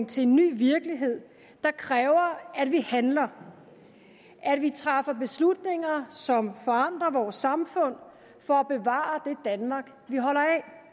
til en ny virkelighed der kræver at vi handler at vi træffer beslutninger som forandrer vores samfund for at bevare det danmark vi holder